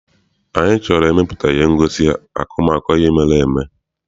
Anyị chọrọ ịmepụta ihe ngosi akọmakọ ihe mere eme.